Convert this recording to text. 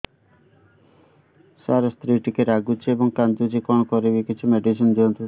ସାର ସ୍ତ୍ରୀ ଟିକେ ରାଗୁଛି ଏବଂ କାନ୍ଦୁଛି କଣ କରିବି କିଛି ମେଡିସିନ ଦିଅନ୍ତୁ